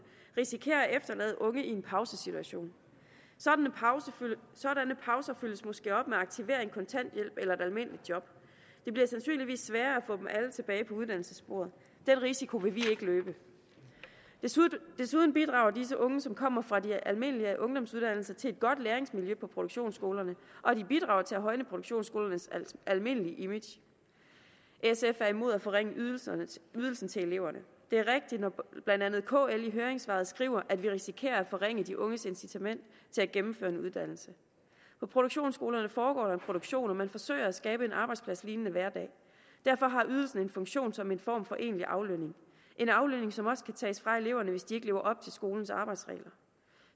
risikerer at efterlade unge i en pausesituation sådanne pauser følges måske op med aktivering kontanthjælp eller et almindeligt job det bliver sandsynligvis sværere at få dem alle tilbage på uddannelsessporet den risiko vil vi ikke løbe desuden bidrager disse unge som kommer fra de almindelige ungdomsuddannelser til et godt læringsmiljø på produktionsskolerne og de bidrager til at højne produktionsskolernes almindelige image sf er imod at forringe ydelsen til eleverne det er rigtigt når blandt andet kl i sit høringssvar skriver at vi risikerer at forringe de unges incitament til at gennemføre en uddannelse på produktionsskolerne foregår der en produktion og man forsøger at skabe en arbejdspladslignende hverdag derfor har ydelsen en funktion som en form for en egentlig aflønning en aflønning som også kan tages fra eleverne hvis de ikke lever op til skolens arbejdsregler